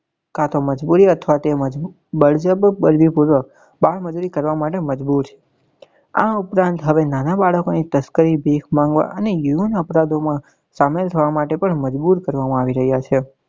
કા તો મજબૂરી અથવા તો બળજબરી પૂર્વક બાળ મજુરી કરવા મજબુર છે આ ઉપરાંત હવે નાના બાળકો ની તસ્કરી ભીખ માંગવા અને યુવાન અપરાધો માં સામેલ થવા માટે પણ મજબુર કરવા મા આવી રહ્યા છે.